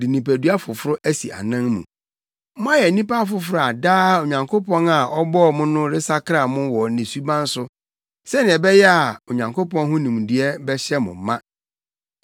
de nipadua foforo asi anan mu. Moayɛ nnipa afoforo a daa Onyankopɔn a ɔbɔɔ mo no resakra mo wɔ ne suban so, sɛnea ɛbɛyɛ a Onyankopɔn ho nimdeɛ bɛhyɛ mo ma.